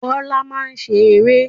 Bọ́lá máa ń ṣe eré.